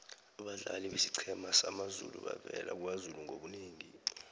abadlali besiqhema samazulu bavela kwazulu ngobunengi